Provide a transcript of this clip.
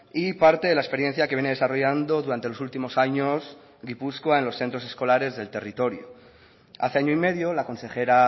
y parte de la experiencia que viene desarrollando durante los últimos años gipuzkoa en los centros escolares del territorio hace año y medio la consejera